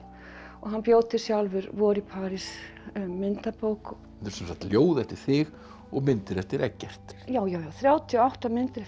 hann bjó til sjálfur vor í París myndabók þetta sem sagt ljóð eftir þig og myndir eftir Eggert já þrjátíu og átta myndir eftir